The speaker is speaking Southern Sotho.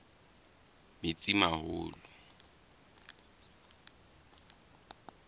metsimaholo